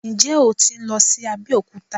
Ǹjẹ́ o tí ń lọ sí Abẹ́òkúta?